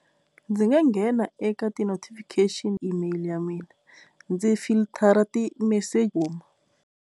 Ndzi nga nghena eka ti-notifiction email ya mina ndzi filithara ti .